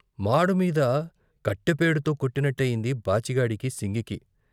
మాడు మీద కట్టెపేడుతో కొట్టినట్టయింది బాచిగాడికి, సింగికి.